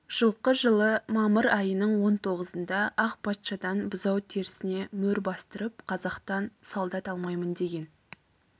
жылқы жылы мамыр айының он тоғызында ақ патшадан бұзау терісіне мөр бастырып қазақтан солдат алмаймын деген